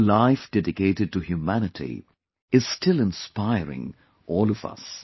Her life dedicated to humanity is still inspiring all of us